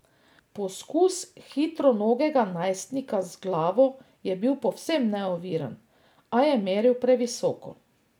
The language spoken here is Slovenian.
Poskus hitronogega najstnika z glavo je bil povsem neoviran, a je meril previsoko.